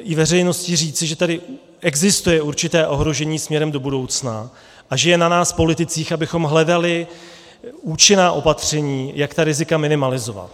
i veřejnosti říci, že tady existuje určité ohrožení směrem do budoucna a že je na nás politicích, abychom hledali účinná opatření, jak ta rizika minimalizovat.